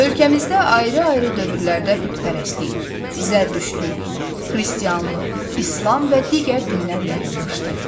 Ölkəmizdə ayrı-ayrı dövrlərdə bütpərəstlik, zərdüştlük, xristianlıq, İslam və digər dinlər yayılmışdı.